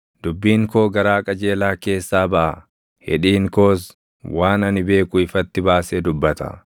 Dubbiin koo garaa qajeelaa keessaa baʼa; hidhiin koos waan ani beeku ifatti baasee dubbata.